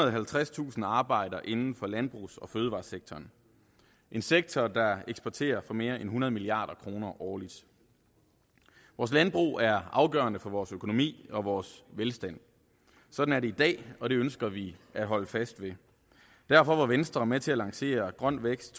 og halvtredstusind arbejder inden for landbrugs og fødevaresektoren en sektor der eksporterer for mere end hundrede milliard kroner årligt vores landbrug er afgørende for vores økonomi og vores velstand sådan er det i dag og det ønsker vi at holde fast ved derfor var venstre med til at lancere grøn vækst